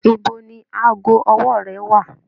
Ibo ni aago ọwọ́ rẹ wà?